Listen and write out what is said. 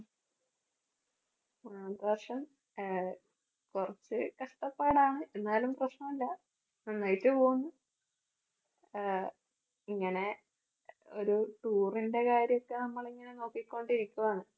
അഹ് വർഷം ആഹ് കുറച്ച് കഷ്ടപ്പാടാണ് എന്നാലും പ്രശ്നമില്ല. നന്നായിട്ട് പോകുന്നു ആഹ് ഇങ്ങനെ ഒരു tour ന്റെ കാര്യം ഒക്കെ നമ്മൾ ഇങ്ങനെ നോക്കിക്കൊണ്ടിരിക്കുവാണ്.